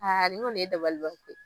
Aa ni kɔni ye dabaliban ko ye.